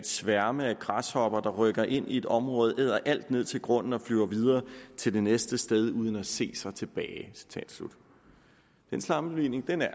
sværme af græshopper der rykker ind i et område æder alt ned til grunden og flyver videre til det næste sted uden at se sig tilbage citat slut den sammenligning